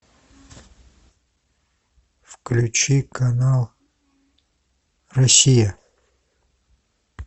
включи канал россия